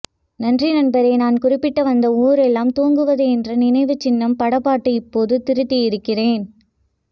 நன்றி நண்பரே நான் குறிப்பிட்ட வந்தது ஊரெல்லாம் தூங்குது என்ற நினைவுச் சின்னம் படப் பாட்டு இப்போது திருத்தியிருக்கிறேன்